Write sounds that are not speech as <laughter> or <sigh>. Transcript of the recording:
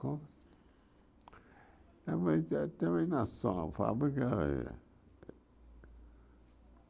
É mas <unintelligible> fábrica?